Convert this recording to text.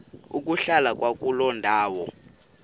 ukuhlala kwakuloo ndawo